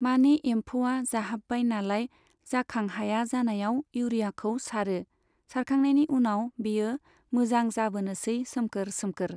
माने एम्फौआ जाहाबबाय नालाय जाखां हाया जानायाव इउरियाखौ सारो, सारखांनायनि उनाव बेयो मोजां जाबोनोसै सोमखोर सोमखोर।